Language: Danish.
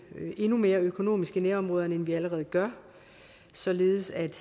endnu mere økonomisk i nærområderne end vi allerede gør således at